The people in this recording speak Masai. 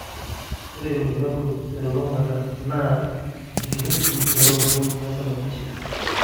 Ore irbulabol telulung'ata naa enkiroshi welototo naisababisha.